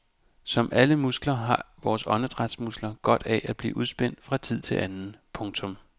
Som alle andre muskler har vores åndedrætsmuskler godt af at blive udspændt fra tid til anden. punktum